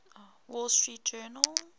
wall street journal